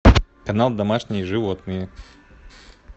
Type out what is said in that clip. канал домашние животные